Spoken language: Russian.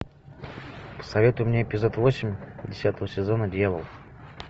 посоветуй мне эпизод восемь десятого сезона дьявол